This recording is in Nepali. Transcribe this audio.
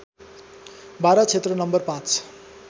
बारा क्षेत्र नं ५